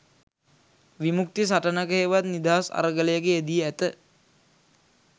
විමුක්ති සටනක හෙවත් නිදහස් අරගලයක යෙදී ඇත